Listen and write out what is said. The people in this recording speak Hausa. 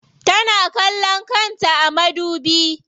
Tana kallon kanta a madubi.